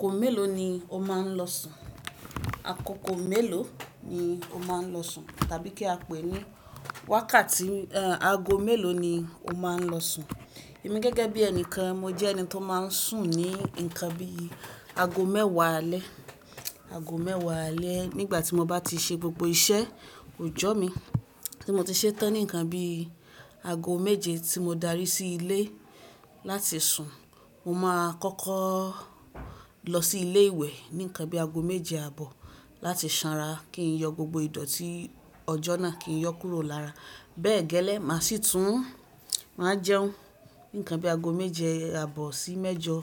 Kò mélòó ni o máa ń lọ sùn? Àkókò mélòó ni o máa ń lọ sùn? Tàbí kí a pè é ní wákàtí, ehn, ago mélòó ni o máa ń lọ sùn? Èmi gẹ́gẹ́ bí ẹnìkan, mo jẹ́ ẹni tó máa ń sùn ní nǹkan bí i ago mẹ́wàá alẹ́, ago mẹ́wàá alẹ́ nígbà tí mo bá ti ṣe gbogbo iṣẹ́ ọjọ́ mi tí mo ti ṣetán. Nǹkan bí i ago méje tí mo darí sí ilé láti sùn. Mo máa kọ́kọ́ lọ sí ilé ìwẹ̀ ní nǹkan bí i ago méje àbọ̀ láti sanra kí n yọ gbogbo ìdọ̀ tí ọjọ́ náà kí n yọ kúrò lára. Bẹ́ẹ̀ gẹ́lẹ́, màá si tún, màá jẹun ní nǹkan bí i ago méje àbọ̀ sí mẹ́jọ.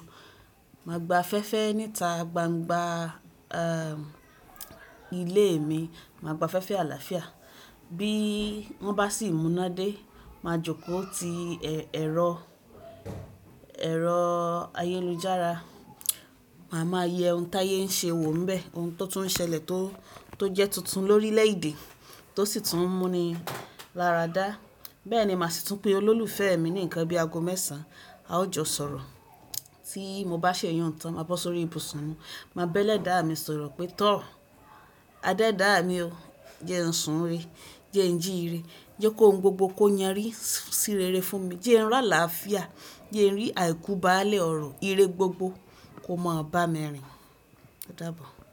Màá gba fẹ́fẹ́ níta gbangba, ehn, ilé mi, màá gba fẹ́fẹ́ àlàáfíà. Bí wọ́n bá sì múná dé, màá jókòó ti ẹ̀rọ, ẹ̀rọ ayélujára. Màá máa yẹ ohun táyé ń ṣe wò ḿbẹ̀, ohun tó tún ṣẹlẹ̀ tó, tó jẹ́ tuntun lórílẹ̀ èdè, tó sì tún mú mi láradá. Bẹ́ẹ̀ ni màá sì tún pè olólùfẹ́ mi ní nǹkan bí i ago mẹ́sàn-án. A ó jọ sọ̀rọ̀. Tí mo bá ṣèyún tán, màá bọ́ sórí ibùsùn, màá bẹ́lẹ̀ dá mi sọ̀rọ̀ pé, "Tọ̀ọ́, adé dáa mi o. Jẹ́ ẹ sùn ire. Jẹ́ ẹ jí ire. Jẹ́ kó ohun gbogbo kó yanrí sí rere fún mi. Jẹ́ ẹ rọ̀ àlàáfíà. Jẹ́ ẹ rí àìkú bá a lẹ́ ọrọ̀. Ire gbogbo kó máa ba mi rìn." O dábo.